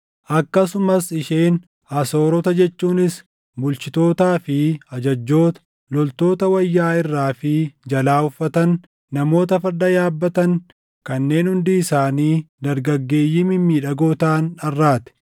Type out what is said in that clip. Akkasumas isheen Asoorota jechuunis bulchitootaa fi ajajjoota, loltoota wayyaa irraa fi jalaa uffatan, namoota farda yaabbatan kanneen hundi isaanii dargaggeeyyii mimmiidhagoo taʼan dharraate.